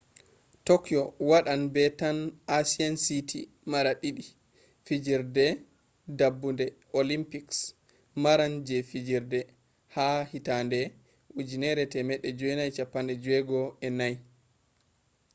tokyo wadan be tan asian city mara didi fijirde dabbude olympics maran je fijirde ha 1964